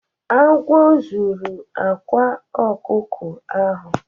Agwo zuru akwa ọkụkọ ahụ.